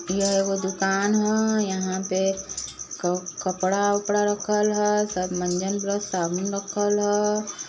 यह एगो दुकान ह यहाँ पे क कपड़ा -उपड़ा रखल ह| कपड़ा मंजन साबुन रखल ह --